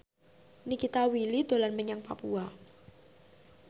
Nikita Willy dolan menyang Papua